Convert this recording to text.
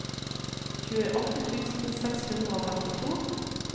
tjueåtte tusen seks hundre og femtito